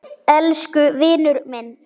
Elsku vinur minn.